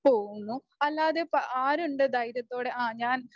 പോകുന്നു. അല്ലാതെ ആരുണ്ട് ധൈര്യത്തോടെ ആ ഞാൻ